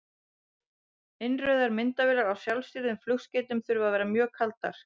Innrauðar myndavélar á sjálfstýrðum flugskeytum þurfa að vera mjög kaldar.